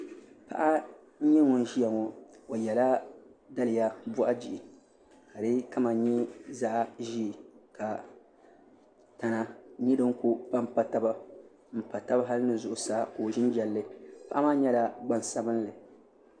Paɣa n nyɛ ŋun ʒiya ŋo o yɛla daliya boɣu bihi ka di kama nyɛ zaɣ ʒiɛ ka tana nyɛ din ku panpa taba n pa tabi hali ni zuɣusaa ka o ʒi n jɛlli paɣa maa nyɛla gbansabinli